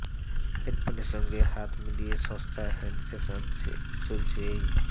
ভোডাফোনের সঙ্গে হাত মিলিয়ে সস্তার হ্যান্ডসেট আনতে চলেছে এই